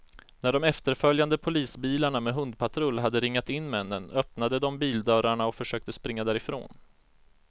När de efterföljande polisbilarna med hundpatrull hade ringat in männen, öppnade de bildörrarna och försökte springa därifrån.